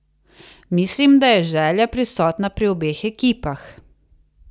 Mislim, da je želja prisotna pri obeh ekipah.